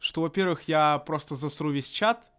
что во-первых я просто за сру весь чат